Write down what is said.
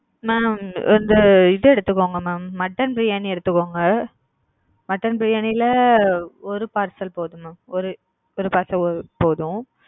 mam வந்து இது எடுத்துகோங்க mam மட்டன் பிரியாணி எடுத்துகோங்க மட்டன் பிரியாணில ஒரு பார்சல் போதும் mam ஒரு ஒரு பார்சல் போதும்.